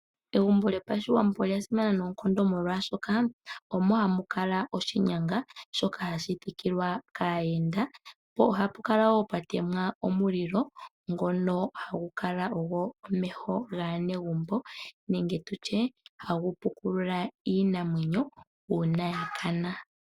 Egumbo lyopashiwambo olya simana noonkondo molwashoka omo ha mu kala oshinyanga shoka hashi thikilwa kaayenda mpo ohapu kala wo pwa temwa omulilo ngono hagu kala wo omeho gwaanegumbo nenge tu tye hagu pukulula iinamwenyo uuna ya kana.